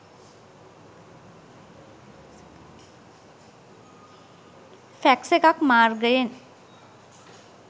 Fax එකක් මාර්ගයෙන්.